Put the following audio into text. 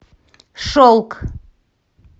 шелк